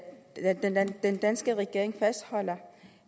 den at den danske regering fastholder